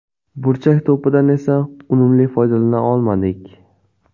Burchak to‘pidan esa unumli foydalana olmadik.